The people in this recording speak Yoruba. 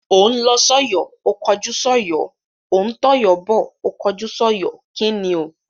Ó ń lọ sọ́yọ̀ ó kọjú sọ́yọ̀, ó ń tọ̀yọ́ bọ̀ ó kọjú sọ́yọ̀. kíni o?